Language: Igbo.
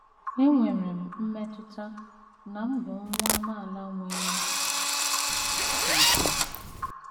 Enwere m mmetụta na m bụ nwa amaala nwere ùgwù. ”